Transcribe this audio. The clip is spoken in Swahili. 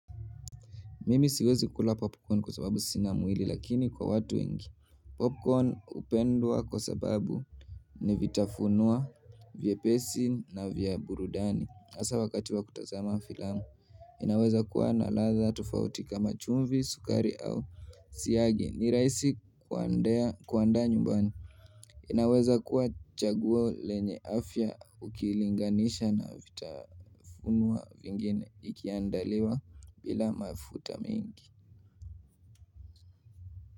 Mimi siwezi kula popcorn kwa sababu sina mwili lakini kwa watu wengi Popcorn hupendwa kwa sababu ni vitafunuwa vyepesi na vya burudani asa wakati wa kutazama filamu inaweza kuwa na ladha tofauti kama chumvi, sukari au siagi ni raisi kuandaa nyumbani Popcorn hupendwa kwa sababu ni vitafunuwa vyepesi na vya burudani asa wakati wa kutazama filamu.